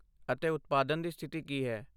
ਅਤੇ ਉਤਪਾਦਨ ਦੀ ਸਥਿਤੀ ਕੀ ਹੈ?